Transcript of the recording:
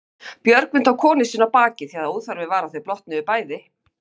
Björgvin tók konu sína á bakið því að óþarfi var að þau blotnuðu bæði.